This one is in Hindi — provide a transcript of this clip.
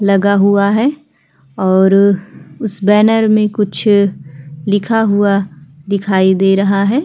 लगा हुआ है और उस बैनर में कुछ लिखा हुआ दिखाई दे रहा है।